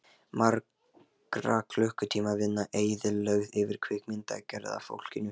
Margra klukkutíma vinna eyðilögð fyrir kvikmyndagerðarfólkinu.